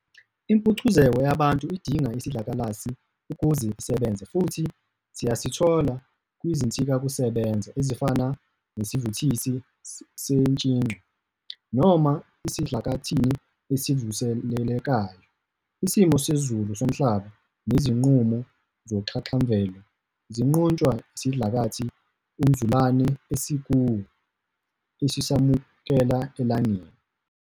Impucuzeko yabantu idinga isidlakalasi ukuze isebenze, futhi siyasithola kwizinsizakusebenza ezifana nesivuthisi sentshicwa, noma esidlakathini esivuselelekayo. Isimo sezulu somhlaba nezinqubo zoxhaxhamvelo ziqhutshwa isidlakathi umzulane esikuwo esisamukela elangeni.